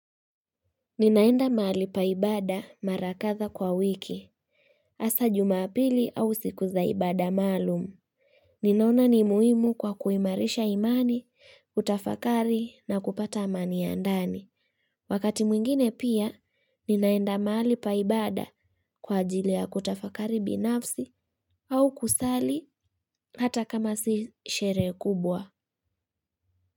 Ninaenda mahali pa ibada mara kadhaa kwa wiki. Hasa jumapili au siku za ibada maalumu. Ninaona ni muhimu kwa kuimarisha imani, kutafakari na kupata amani ya ndani. Wakati mwingine pia, ninaenda mahali pa ibada kwa ajili ya kutafakari binafsi au kusali hata kama si sherehe kubwa.